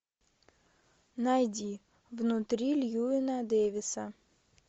найди внутри льюина дэвиса